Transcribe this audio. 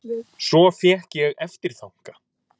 Svo fékk ég eftirþanka.